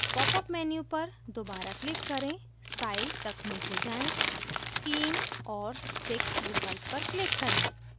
popअप menu पर दोबारा click करें style तक नीचे जाएँ scheme और sticks विकल्प पर click करें